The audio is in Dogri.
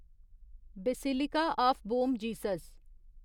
basilica of Bom Jesus